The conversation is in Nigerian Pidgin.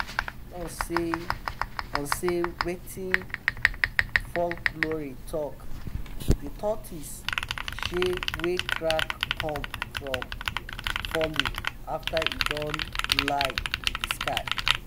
base on sey on sey wetin folklore talk de tortoise shell wey crack come from falling after e don lie to de sky